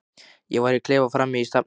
Ég var í klefa frammi í stafni.